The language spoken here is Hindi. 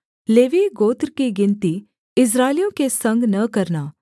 लेवीय गोत्र की गिनती इस्राएलियों के संग न करना